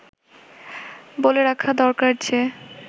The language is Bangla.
বলে রাখা দরকার যে